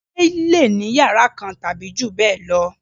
Ilé lè ní iyàrá kan tàbí jù bẹ́ẹ̀ lọ